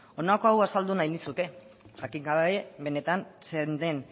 honako hau esango azaldu nahi nizuke jakin gabe benetan zein den